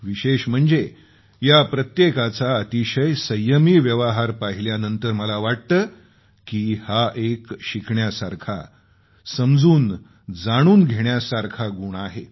विशेष म्हणजे प्रत्येकाचा अतिशय संयमी व्यवहार पाहिल्यानंतर मला वाटतं की हा एक शिकण्यासारखा समजूनजाणून घेण्यासारखा गुण आहे